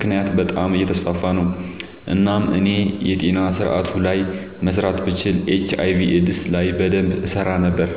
ምክንያት በጣም አየተስፋፋ ነው። እናም እኔ የጤና ስረአቱ ላይ መስራት ብችል ኤች/አይ/ቪ ኤድስ ላይ በደንብ እሰራ ነበር።